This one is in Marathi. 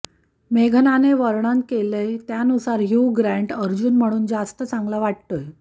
मेघनाने वर्णन केलय त्यानुसार ह्यु ग्रांट अर्जुन म्हणुन जास्त चांगला वाटतोय